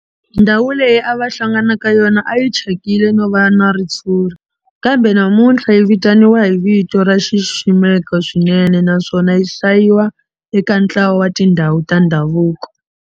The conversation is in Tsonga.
Ndhawu leyi a va hlangana ka yona a yi thyakile no va na ritshuri kambe namuntlha yi vitaniwa hi vito ro xiximeka swinene naswona yi hlayiwa eka ntlawa wa tindhawu ta ndhavuko.